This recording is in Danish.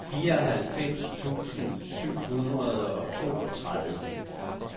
fireoghalvfems tusind syv hundrede og toogtredive